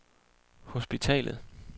hospitalet